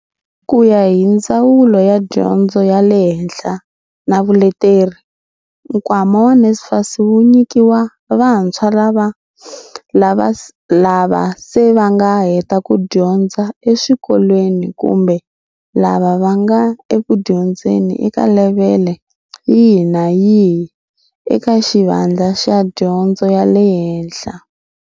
Ku ya hi Ndzawulo ya Dyondzo ya le Henhla na Vuleteri, nkwama wa NSFAS wu nyikiwa vantshwa lava se va nga heta ku dyondza eswikolweni kumbe lava va nga ekudyondzeni eka levhele yihi kumbe yihi eka xivandla xa dyondzo ya le hehla.